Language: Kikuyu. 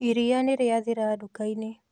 Iria nĩrĩathira nduka-inĩ